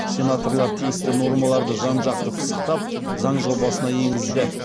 сенаторлар тиісті нормаларды жан жақты пысықтап заң жобасына енгізді